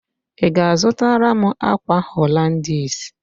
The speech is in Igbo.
Ị ga-azụtara m ákwà Holandis?